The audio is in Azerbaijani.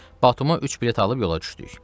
Batuma üç bilet alıb yola düşdük.